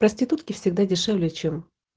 проститутки всегда дешевле чем